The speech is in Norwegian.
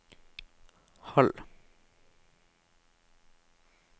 halv